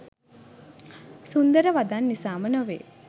සුන්දර වදන් නිසාම නොවේ.